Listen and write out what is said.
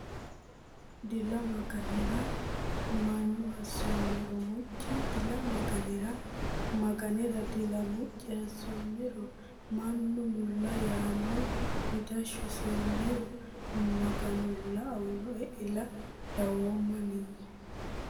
Dila Maganera Mannu assoommero Miccu Dila Maganera Maganera Dila Miccu assoommero Mannu mulla yaanno Midashshu sewommero Maganulla aanno Ile dawoommani !